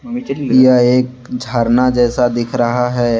यह एक झरना जैसा दिख रहा है।